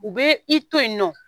U bɛ i to yen nɔ